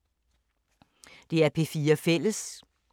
DR P4 Fælles